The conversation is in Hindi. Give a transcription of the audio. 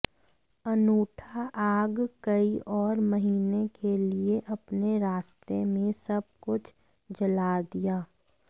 अनूठा आग कई और महीने के लिए अपने रास्ते में सब कुछ जला दिया